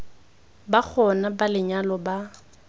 ba gona ba lenyalo ba